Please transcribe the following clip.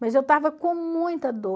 Mas eu estava com muita dor.